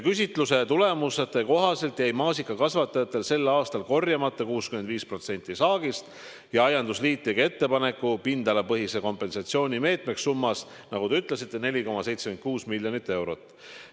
Küsitluse tulemuste kohaselt jäi maasikakasvatajatel sel aastal korjamata 65% saagist ja aiandusliit tegi ettepaneku pindalapõhise kompensatsiooni meetmeks summas, nagu te ütlesite, 4,76 miljonit eurot.